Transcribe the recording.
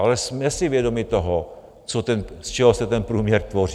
Ale jsme si vědomi toho, z čeho se ten průměr tvoří.